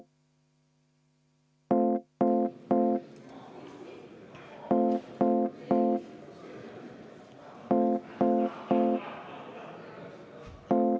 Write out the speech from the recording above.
V a h e a e g